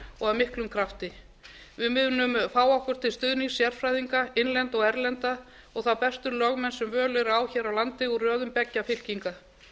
og af miklum krafti við munum fá okkur til stuðnings sérfræðinga innlenda og erlenda og þá bestu lögmenn sem völ er á hér á landi úr röðum beggja fylkinga